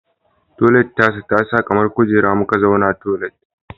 Toilet tasa tasa kamar kujera muka zauna toilet